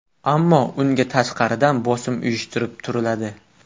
Ammo unga tashqaridan bosim uyushtirib turiladi.